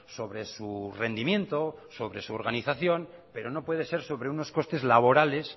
sobre su rendimiento sobre su organización pero no puede ser sobre unos costes laborales